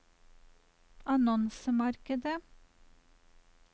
annonsemarkedet